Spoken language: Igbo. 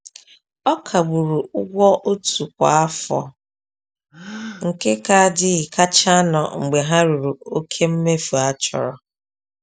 A kagburu ụgwọ otu kwa afọ nke kaadị kachanụ mgbe ha ruru oke mmefu a chọrọ.